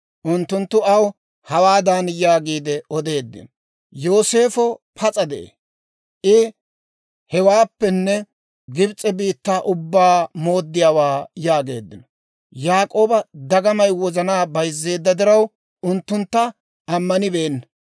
Unttunttu aw hawaadan yaagiide odeeddino; «Yooseefo pas'a de'ee! I hewaappenne Gibs'e biittaa ubbaa mooddiyaawaa» yaageeddino; Yaak'ooba dagamay wozanaa bayzzeedda diraw, unttuntta ammanibeenna.